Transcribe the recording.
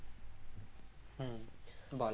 হম বল